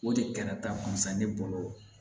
O de kɛra ta kun sa ne bolo